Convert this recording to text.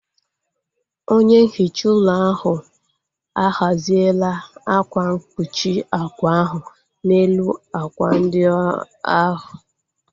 Onye nhicha ụlọ ahu a ghaziela akwa mkpuchi ákwà ahu n'elu ákwà ndị ahu